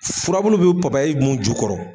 Furabulu be papayi mun ju kɔrɔ